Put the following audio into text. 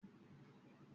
Ìyá ìyá Isreal ti buru jù.